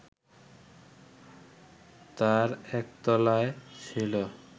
তার একতলায় ছিল